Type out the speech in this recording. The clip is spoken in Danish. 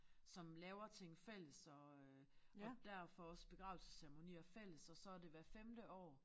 Som laver ting fælles og øh og derfor også begravelsesceremonier fælles og så det hvert femte år